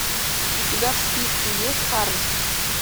у тебя в списке есть хармс